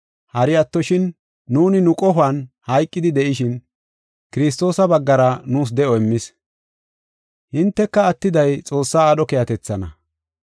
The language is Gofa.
hari attoshin nuuni nu qohuwan hayqidi de7ishin Kiristoosa baggara nuus de7o immis. Hinteka attiday Xoossaa aadho keehatethaana.